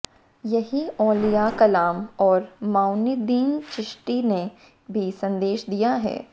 यही औलिया कलाम और मोइनुद्दीन चिश्ती ने भी संदेश दिया है